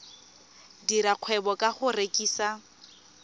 dira kgwebo ka go rekisa